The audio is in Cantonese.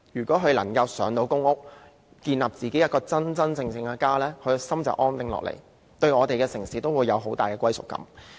市民能夠"上"公屋，建立自己真正的家，心便會安定下來，對我們的城市也會有更大的歸屬感。